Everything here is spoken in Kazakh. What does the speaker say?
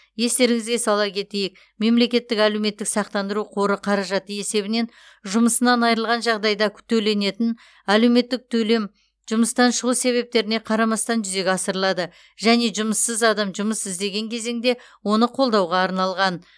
естеріңізге сала кетейік мемлекеттік әлеуметтік сақтандыру қоры қаражаты есебінен жұмысынан айырылған жағдайда төленетін әлеуметтік төлем жұмыстан шығу себептеріне қарамастан жүзеге асырылады және жұмыссыз адам жұмыс іздеген кезеңде оны қолдауға арналған